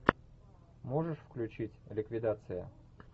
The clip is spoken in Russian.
можешь включить ликвидация